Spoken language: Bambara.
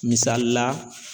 Misali la